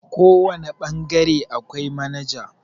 kawane bangare akwai manajan